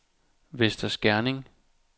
Vester Skerning